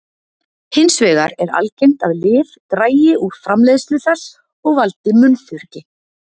hins vegar er algengt að lyf dragi úr framleiðslu þess og valdi munnþurrki